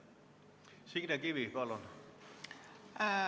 Signe Kivi, palun!